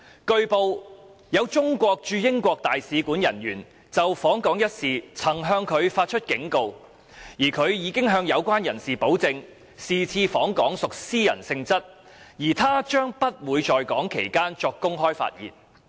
據報，有中國駐英國大使館人員就訪港一事曾向他發出警告，而他已向有關人士保證，是次訪港屬私人性質而他將不會在港期間作公開發言。